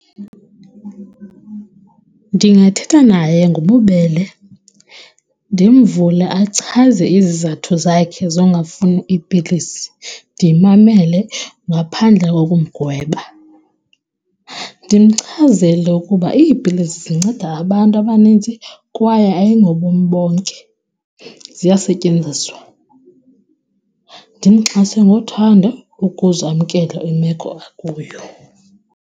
Ndingathetha naye ngobubele ndimvule achaze izizathu zakhe zongafuni iipilisi, ndimamele ngaphandle kokumgweba. Ndimchazele ukuba iipilisi zinceda abantu abaninzi kwaye ayingobomi bonke, ziyasetyenziswa. Ndimxhase ngothando ukuze amkele imeko akuyo.